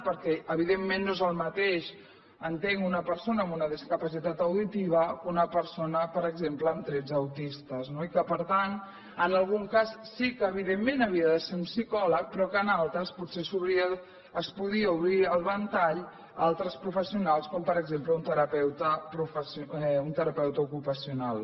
perquè evidentment no és el mateix entenc una persona amb una discapacitat auditiva que una persona per exemple amb trets autistes no i que per tant en algun cas sí que evidentment sí havia de ser un psicòleg però que en altres potser es podia obrir el ventall a altres professionals com per exemple un terapeuta ocupacional